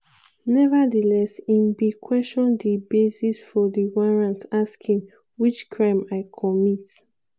nevertheless im bin question di basis for di warrant asking: "which crime i commit?"